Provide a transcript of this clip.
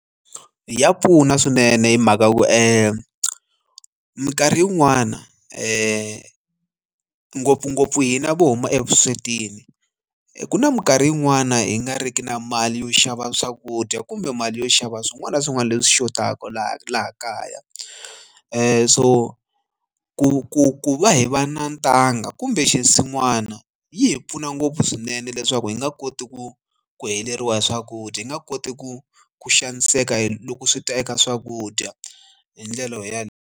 Ya pfuna swinene hi mhaka ku minkarhi yin'wani ngopfungopfu hina vo huma evuswetini ku na minkarhi yin'wani hi nga riki na mali yo xava swakudya kumbe mali yo xava swin'wana na swin'wana leswi xotaka laha laha kaya ku so ku ku ku va hi va na ntanga kumbe xinsin'wana yi hi pfuna ngopfu swinene leswaku hi nga koti ku ku heleriwa hi swakudya hi nga koti ku ku xaniseka hi loko swi ta eka swakudya hindlela yaleyo.